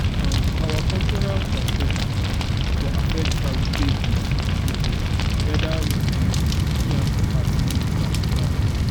um our cultural perspective for affect how we take dey see problem weda we um see am as spiritual attack